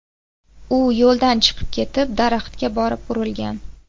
U yo‘ldan chiqib ketib, daraxtga borib urilgan.